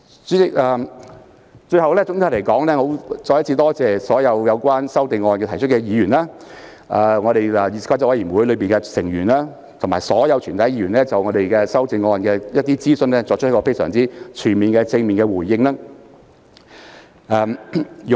主席，最後，我要再次感謝所有就擬議修訂提出意見的議員、議事規則委員會委員及全體議員，他們均就擬議修訂的諮詢作出了非常全面和正面的回應。